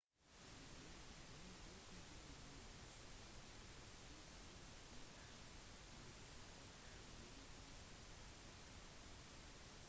tidligere denne uken ble tre personer drept og tre såret i en politihelikopterulykke